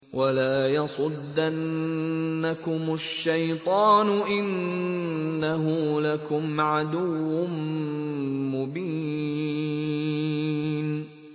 وَلَا يَصُدَّنَّكُمُ الشَّيْطَانُ ۖ إِنَّهُ لَكُمْ عَدُوٌّ مُّبِينٌ